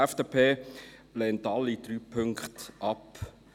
Die FDP lehnt alle drei Punkte ab.